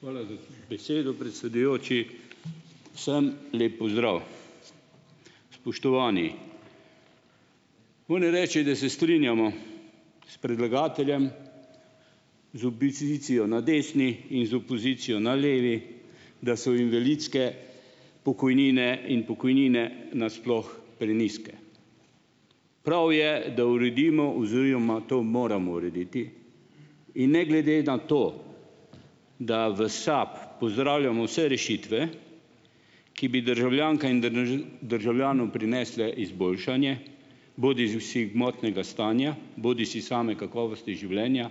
Hvala za besedo, predsedujoči. Vsem lep pozdrav! Spoštovani! Moram reči, da se strinjamo s predlagateljem, z opozicijo na desni in opozicijo na levi, da so invalidske pokojnine in pokojnine nasploh prenizke. Prav je, da uredimo oziroma to moramo urediti. In ne glede nato, da v SAB pozdravljamo vse rešitve, ki bi državljankam in državljanom prinesle izboljšanje, bodižesi gmotnega stanja bodisi same kakovosti življenja,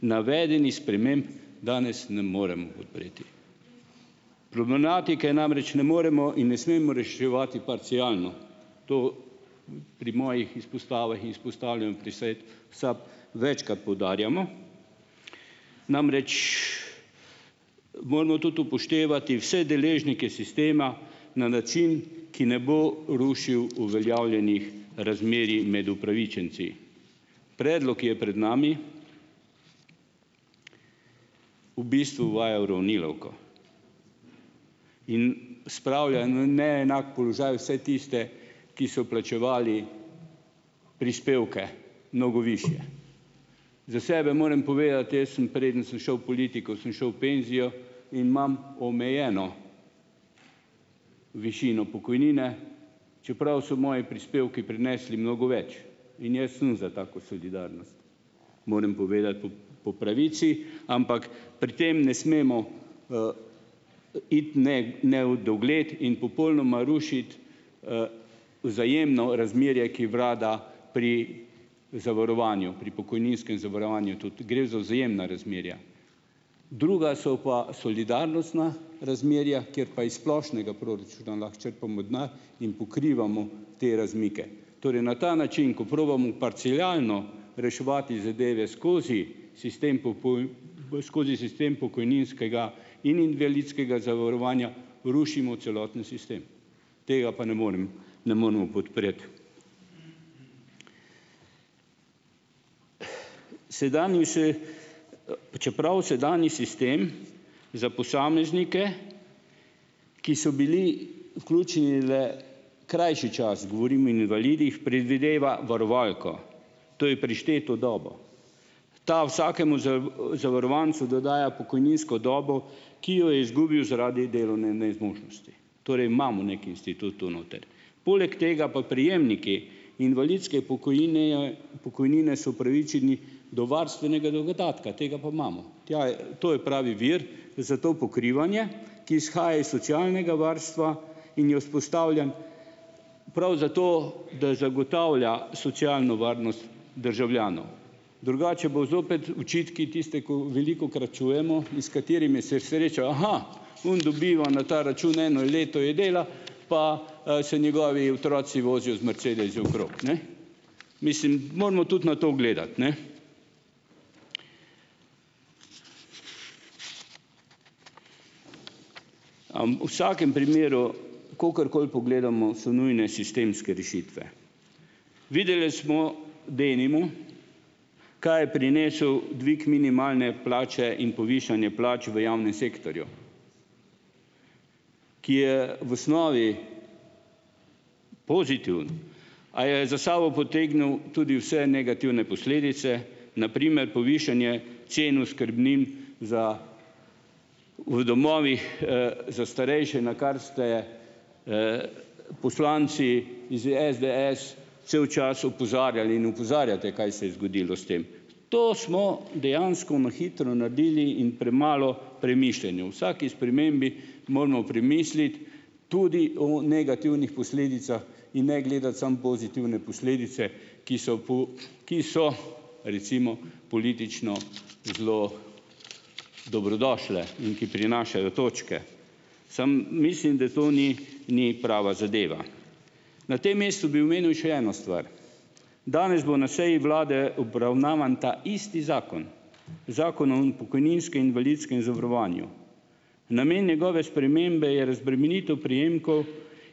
navedenih sprememb danes ne morem podpreti, problematike namreč ne moremo in ne smemo reševati parcialno, to pri mojih izpostavah in izpostavljanj pri svetu SAB večkrat poudarjamo. Namreč moramo tudi upoštevati vse deležnike sistema na način, ki ne bo rušil uveljavljenih razmerij med upravičenci. Predlog, ki je pred nami, v bistvu uvaja uravnilovko in spravlja na neenak položaj vse tiste, ki so plačevali prispevke mnogo višje. Za sebe morem povedati, jaz sem, preden sem šel v politiko, sem šel v penzijo in imam omejeno višino pokojnine, čeprav so moji prispevki prinesli mnogo več, in jaz sem za tako solidarnost. Morem povedati po po pravici. Ampak pri tem ne smemo, iti nedogled in popolnoma rušiti, vzajemno razmerje, ki vlada pri zavarovanju, pri pokojninskem zavarovanju. Tudi gre za vzajemna razmerja, druga so pa solidarnostna razmerja, kjer pa iz splošnega proračuna lahko črpamo denar in pokrivamo te razmike. Torej na ta način, ko probamo parcialno reševati zadeve skozi sistem skozi sistem pokojninskega in invalidskega zavarovanja rušimo celoten sistem, tega pa ne morem ne moremo podpreti. Sedanji čeprav sedanji sistem za posameznike, ki so bili vključeni le krajši čas, govorim invalidih, predvideva varovalko, to je prišteto dobo, ta vsakemu zavarovancu dodaja pokojninsko dobo, ki jo je izgubil zaradi delovne nezmožnosti. Torej imamo neki institut tu noter. Poleg tega pa prejemniki invalidske pokojnine pokojnine so upravičeni do varstvenega dodatka. Tega pa imamo. Tja je, to je pravi vir za to pokrivanje, ki izhaja iz socialnega varstva in je vzpostavljen prav zato, da zagotavlja socialno varnost državljanov, drugače bodo zopet očitki, tiste, ko velikokrat čujemo in s katerimi se sreča, oni dobiva na ta račun, eno leto je delal pa, se njegovi otroci vozijo z mercedesi okrog, ne. Mislim, moramo tudi na to gledati, ne, v vsakem primeru, kakorkoli pogledamo, so nujne sistemske rešitve. Videle smo, denimo, kaj je prinesel dvig minimalne plače in povišanje plač v javnem sektorju, ki je v osnovi pozitiven, a je za sabo potegnil tudi vse negativne posledice, na primer povišanje cen oskrbnin za v domovih, za starejše, na kar ste, poslanci iz SDS cel čas opozarjali in opozarjate, kaj se je zgodilo s tem. To smo dejansko na hitro naredili in premalo premišljeno. O vsaki spremembi moramo premisliti tudi o negativnih posledicah in ne gledati samo pozitivne posledice, ki so ki so recimo politično zelo dobrodošle in ki prinašajo točke , samo mislim, da to ni ni prava zadeva. Na tem mestu bi omenil še eno stvar. Danes bo na seji vlade obravnavan ta isti zakon, Zakon o pokojninskem in invalidskem zavarovanju. Namen njegove spremembe je razbremenitev prejemkov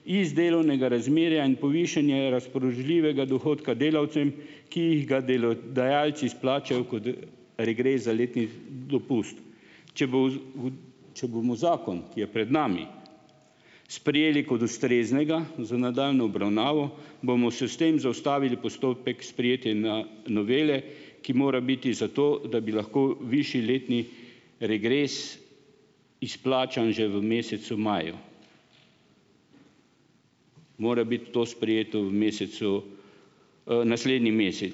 iz delovnega razmerja in povišanje razpoložljivega dohodka delavcem, ki ga delodajalci izplačajo kot, regres za letni dopust. Če bo če bomo zakon, ki je pred nami, sprejeli kot ustreznega za nadaljnjo obravnavo bomo se s tem zaustavili postopek sprejetja novele, ki mora biti za to, da bi lahko višji letni regres izplačan že v mesecu maju, mora biti to sprejeto v mesecu, naslednji mesec.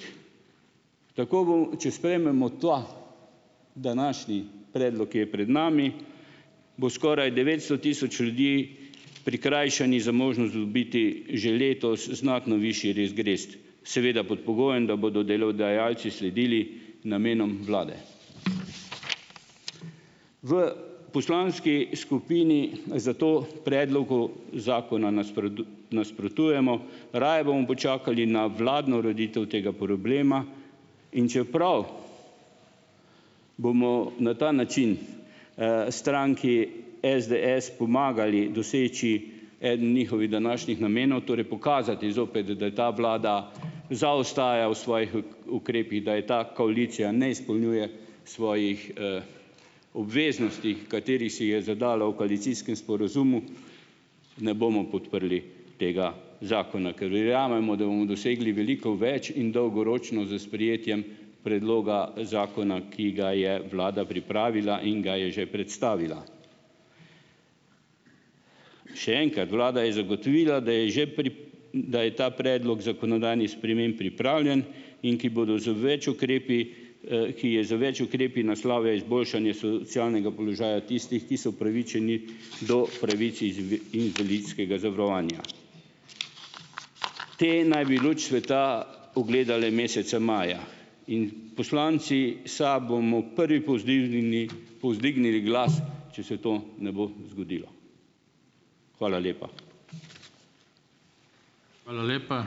Tako bomo, če sprejmemo ta današnji predlog, ki je pred nami, bo skoraj devetsto tisoč ljudi prikrajšanih za možnost dobiti že letos znatno višji regres, seveda, pod pogojem, da bodo delodajalci sledili namenom vlade. V poslanski skupini zato predlogu zakona nasprotujemo. Raje bomo počakali na vladno ureditev tega problema. In čeprav bomo na ta način, stranki SDS pomagali doseči eden njihovih današnjih namenov, torej pokazati zopet, da je ta vlada zaostaja v svojih ukrepih, da je ta koalicija ne izpolnjuje svojih, obveznosti, katerih si je zadala v koalicijskem sporazumu, ne bomo podprli tega zakona, ker verjamemo, da bomo dosegli veliko več in dolgoročno s sprejetjem predloga zakona, ki ga je vlada pripravila in ga je že predstavila. Še enkrat, vlada je zagotovila, da je že da je ta predlog zakonodajnih sprememb pripravljen, in ki bodo z več ukrepi, ki je z več ukrepi naslovil izboljšanje socialnega položaja tistih, ki so upravičeni do pravic iz invalidskega zavarovanja. Te naj bi luč sveta ugledale meseca maja. In poslanci SAB bomo prvi povzdižnili povzdignili glas, če se to ne bo zgodilo. Hvala lepa.